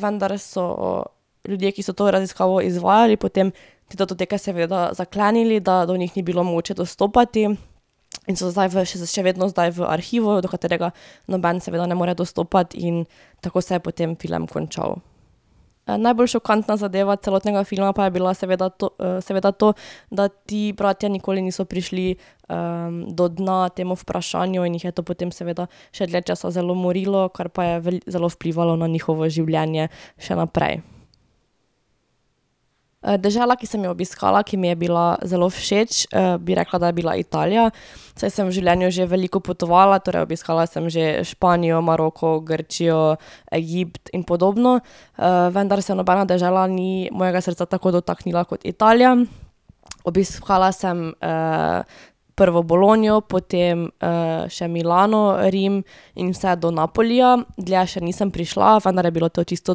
vendar so ljudje, ki so to raziskavo izvajali, potem te datoteke seveda zaklenili, da do njih ni bilo mogoče dostopati in so zdaj v še vedno zdaj v arhivu, do katerega noben seveda ne more dostopati in tako se je potem film končal. najbolj šokantna zadeva celotnega filma pa je bila seveda to seveda to, da ti bratje nikoli niso prišli, do dna temu vprašanju in jih je to potem seveda še dlje časa zelo morilo, kar pa je zelo vplivalo na njihovo življenje še naprej. dežela, ki sem jo obiskala, ki mi je bila zelo všeč, bi rekla, da je bila Italija. Saj sem v življenju že veliko potovala, torej obiskala sem že Španijo, Maroko, Grčijo, Egipt in podobno. vendar se nobena dežela ni mojega srca tako dotaknila kot Italija. Obiskala sem, prvo Bologno, potem, še Milano, Rim in vse do Napolija. Dlje še nisem prišla, vendar je bilo to čisto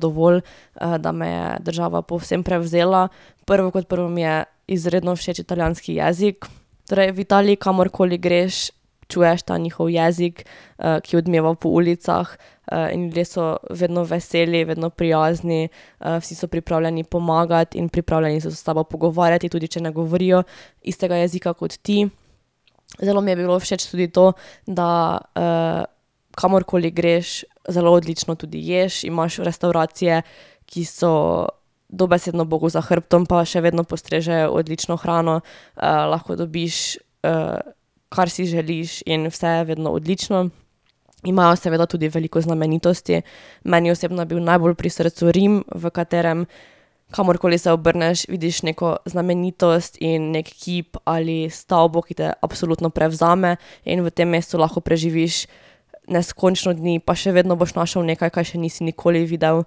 dovolj, da me je država povsem prevzela. Prvo kot prvo mi je izredno všeč italijanski jezik. Torej v Italiji kamorkoli greš, čuješ ta njihov jezik, ki odmeva po ulicah, in bili so vedno veseli, vedno prijazni, vsi so pripravljeni pomagati in pripravljeni so s tabo pogovarjati, tudi če ne govorijo istega jezika kot ti. Zelo mi je bilo všeč tudi to, da, kamorkoli greš, zelo odlično tudi ješ. Imaš restavracije, ki so dobesedno bogu za hrbtom, pa še vedno postrežejo odlično hrano. lahko dobiš, kar si želiš, in vse je vedno odlično. Imajo seveda tudi veliko znamenitosti. Meni osebno je bil najbolj pri srcu Rim, v katerem, kamorkoli se obrneš, vidiš neko znamenitost in neki kip, ali stavbo, ki te absolutno prevzame. In v tem mestu lahko preživiš neskončno dni pa še vedno boš našel nekaj, kaj še nisi nikoli videl.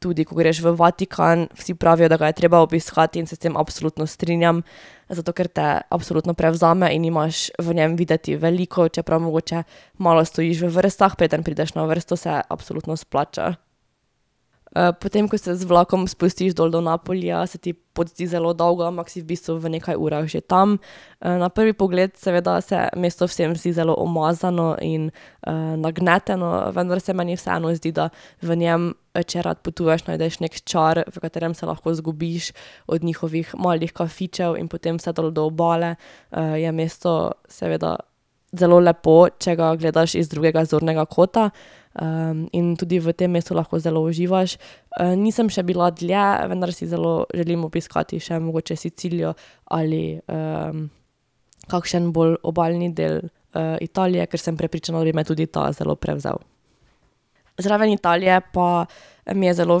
tudi, ko greš v Vatikan, vsi pravijo, da ga je treba obiskati, in se s tem absolutno strinjam, zato ker te absolutno prevzame in imaš v njem videti veliko, čeprav mogoče malo stojiš v vrstah, preden prideš na vrsto, se absolutno splača. potem ko se z vlakom spustiš dol do Napolija, se ti pot zdi zelo dolga, ampak si v bistvu v nekaj urah že tam. na prvi pogled seveda se mesto vsem zdi zelo umazano in, nagneteno, vendar se meni vseeno zdi, da v njem, če rad potuješ, najdeš neki čar, v katerem se lahko izgubiš od njihovih malih kafičev in potem vse dol do obale. je mesto seveda zelo lepo, če ga gledaš iz drugega zornega kota. in tudi v tem mestu lahko zelo uživaš. nisem še bila dlje, vendar si zelo želim obiskati še mogoče Sicilijo ali, kakšen bolj obalni del, Italije, ker sem prepričana, da bi me tudi ta zelo prevzel. Zraven Italije pa mi je zelo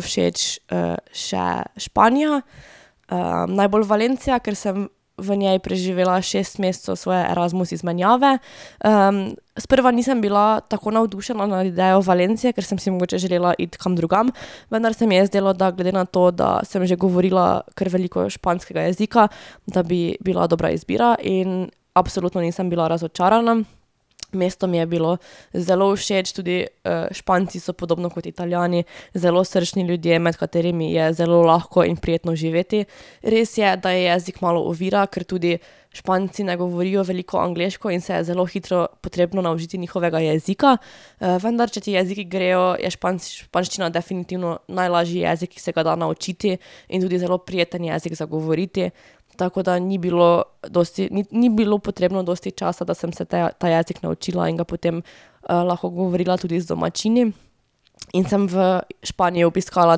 všeč, še Španija. najbolj Valencia, ker sem v njej preživela šest mesecev svoje Erasmus izmenjave, Sprva nisem bila tako navdušena nad idejo Valencie, ker sem si mogoče želela iti kam drugam, vendar se mi je zdelo, da glede na to, da sem že govorila kar veliko španskega jezika, da bi bila dobra izbira in absolutno nisem bila razočarana. Mesto mi je bilo zelo všeč tudi, Španci so podobno kot Italijani zelo srčni ljudje, med katerimi je zelo lahko in prijetno živeti. Res je, da je jezik malo ovira, ker tudi Španci ne govorijo veliko angleško in se je zelo hitro potrebno naučiti njihovega jezika. vendar, če ti jeziki grejo, je španščina definitivno najlažji jezik, ki se ga da naučiti in tudi zelo prijeten jezik za govoriti. Tako da ni bilo dosti, ni bilo potrebno dosti časa, da sem se te ta jezik naučila in ga potem, lahko govorila tudi z domačini. In sem v Španiji obiskala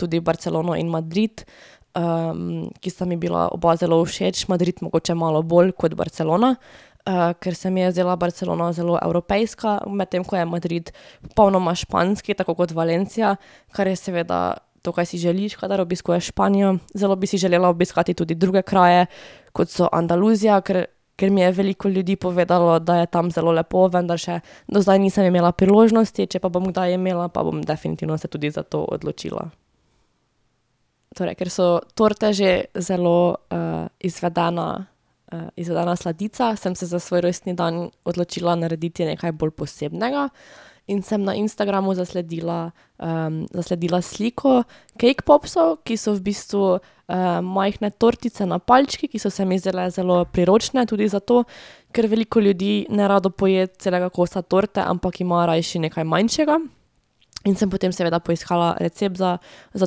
tudi Barcelono in Madrid, ki sta mi bila oba zelo všeč, Madrid mogoče malo bolj kot Barcelona, ker se mi je zdela Barcelona zelo evropejska, medtem ko je Madrid popolnoma španski tako kot Valencia, kar je seveda to, kaj si želiš, kadar obiskuješ Španijo, zelo bi si želela obiskati tudi druge kraje, kot so Andaluzija, ker, ker mi je veliko ljudi povedalo, da je tam zelo lepo, vendar še do zdaj nisem imela priložnosti, če pa bom kdaj imela, pa bom definitivno se tudi za to odločila. Torej ker so torte že zelo, izvedena, izvedena sladica, sem se za svoj rojstni dan odločila narediti nekaj bolj posebnega in sem na Instagramu zasledila, zasledila sliko cake popsov, ki so v bistvu, majhne tortice na palčki, ki so se mi zdajle zelo priročne tudi zato, ker veliko ljudi nerado poje celega kosa torte, ampak ima rajši nekaj manjšega. In sem potem seveda poiskala recept za, za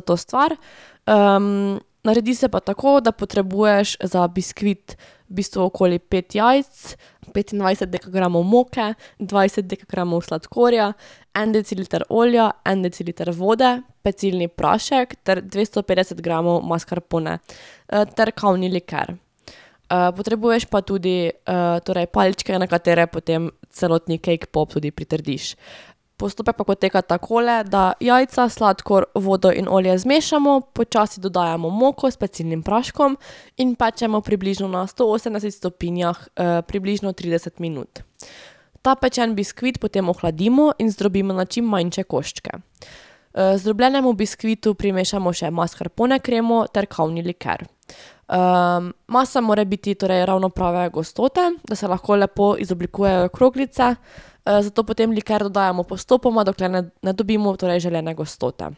to stvar. naredi se pa tako, da potrebuješ za biskvit v bistvu okoli pet jajc, petindvajset dekagramov moke, dvajset dekagramov sladkorja, en deciliter olja, en deciliter vode, pecilni prašek ter dvesto petdeset gramov maskarpone. ter kavni liker. potrebuješ pa tudi, torej palčke, na katere potem celotni cake pop tudi pritrdiš. Postopek pa poteka takole, da jajca, sladkor, vodo in olje zmešamo, počasi dodajamo moko s pecilnim praškom in pečemo približno na sto osemdesetih stopinjah, približno trideset minut. Ta pečeni biskvit potem ohladimo in zdrobimo na čim manjše koščke. zdrobljenemu biskvitu primešamo še maskarpone kremo ter kavni liker. masa mora biti torej ravno prave gostote, da se lahko lepo izoblikujejo kroglice. zato potem liker dodajamo postopoma, dokler ne, ne dobimo torej želene gostote.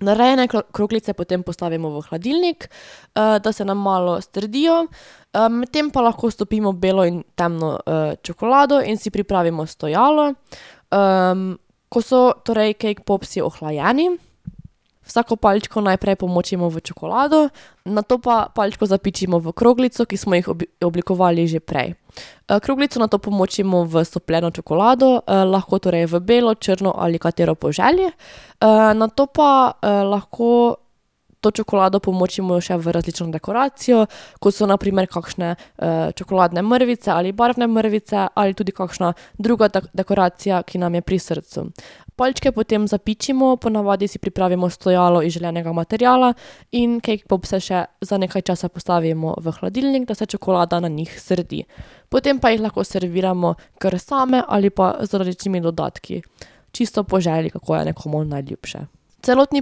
Narejene kroglice potem postavimo v hladilnik, da se nam malo strdijo, medtem pa lahko stopimo belo in temno, čokolado in si pripravimo stojalo. ko so torej cake popsi ohlajeni, vsako palčko najprej pomočimo v čokolado, nato pa palčko zapičimo v kroglico, ki smo jih oblikovali že prej. kroglico nato pomočimo v stopljeno čokolado, lahko torej v belo, črno ali katero po želji. nato pa, lahko to čokolado pomočimo še v različno dekoracijo, kot so na primer kakšne, čokoladne mrvice ali barvne mrvice ali tudi kakšna druga dekoracija, ki nam je pri srcu. Palčke potem zapičimo, ponavadi si pripravimo stojalo iz želenega materiala in cake popse še za nekaj časa postavimo v hladilnik, da se čokolada na njih strdi. Potem pa jih lahko serviramo kar same ali pa z različnimi dodatki. Čisto po želji, kako je nekomu najljubše. Celotni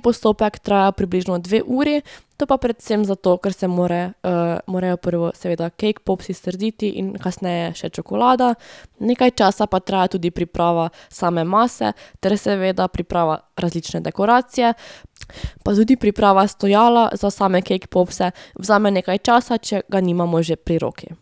postopek traja približno dve uri to pa predvsem zato, ker se more, morajo prvo seveda cake popsi strditi in kasneje še čokolada. Nekaj časa pa traja tudi priprava same mase ter seveda priprava različne dekoracije pa tudi priprava stojala za same cake popse vzame nekaj časa, če ga nimamo že pri roki.